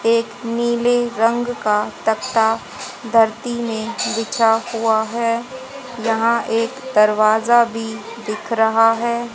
एक नीले रंग का तख्ता धरती में बिछा हुआ है। यहां एक दरवाजा भी दिख रहा है।